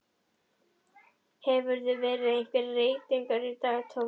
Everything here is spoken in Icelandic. Hefur verið einhver reytingur í dag Tommi?